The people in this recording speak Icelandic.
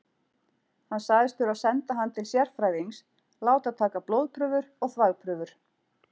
Hann sagðist þurfa að senda hann til sérfræðings, láta taka blóðprufur og þvagprufur.